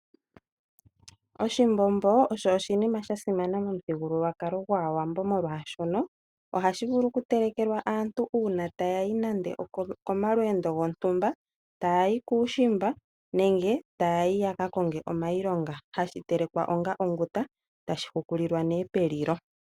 Oshimbombo osho oshinima sha simana momuthigululwakalo gwAawambo, molwashoka ohashi vulu okutelekelwa aantu uuna taya yi nando okomalweendo gontumba, taya yi kuushimba nenge taya yi ya ka konge iilonga hashi telekwa onga onguta, tashi hukulilwa nduno pelilo.